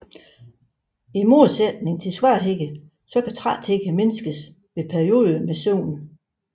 I modsætning til svaghed så kan træthed mindskes ved perioder med søvn